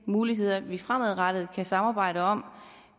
muligheder vi fremadrettet kan samarbejde om